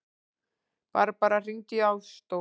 Barbara, hringdu í Ásdór.